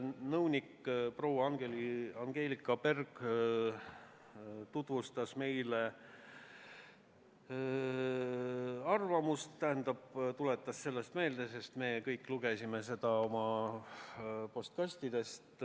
Nõunik proua Angelika Berg tutvustas või õigemini tuletas meile meelde arvamusi eelnõu kohta – me kõik lugesime neid enne oma postkastidest.